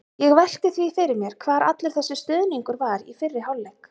Ég velti því fyrir mér hvar allur þessi stuðningur var í fyrri hálfleik?